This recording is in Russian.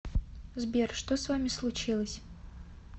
сбер что с вами случилось